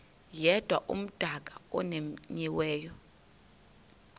yedwa umdaka omenyiweyo